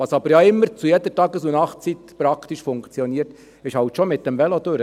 Was aber zu jeder Tages- und Nachtzeit praktisch immer funktioniert, ist, mit dem Velo durchzufahren.